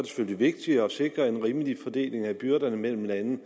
selvfølgelig vigtigt at sikre en rimelig fordeling af byrderne mellem landene